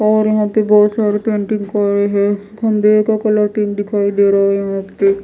और यहां पे बहोत सारे पेंटिंग करे हैं का कलर टिन दिखाई दे रहा यहां पे--